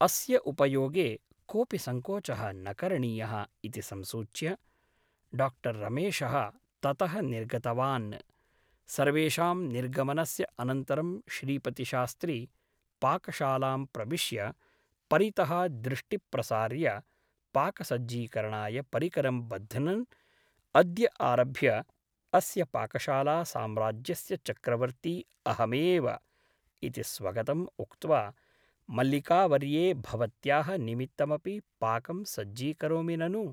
अस्य उपयोगे कोऽपि सङ्कोचः न करणीयः ' इति संसूच्य डा रमेशः ततः निर्गतवान् । सर्वेषां निर्गमनस्य अनन्तरं श्रीपतिशास्त्री पाकशालां प्रविश्य परितः दृष्टि प्रसार्य पाकसज्जीकरणाय परिकरं बध्नन् ' अद्य आरभ्य अस्य पाकशाला साम्राज्यस्य चक्रवर्ती अहमेव ' इति स्वगतम् उक्त्वा मल्लिकावर्ये भवत्याः निमित्तमपि पाकं सज्जीकरोमि ननु ?